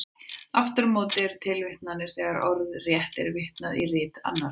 Aftur á móti eru tilvitnanir þegar orðrétt er vitnað í rit annarra.